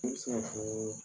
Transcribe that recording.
Ne bɛ se ka fɔ